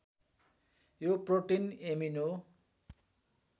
यो protein amino